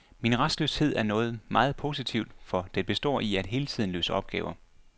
Min rastløshed er noget meget positivt, for den består i, at jeg hele tiden løser opgaver.